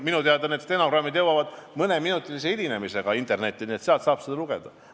Minu teada jõuavad stenogrammid mõneminutilise hilinemisega internetti, nii et sealt saate seda lugeda.